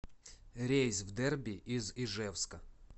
рейс в дерби из ижевска